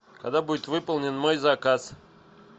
когда будет выполнен мой заказ